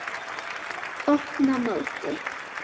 Opna móti.